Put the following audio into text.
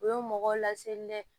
U ye mɔgɔw laseli dɛ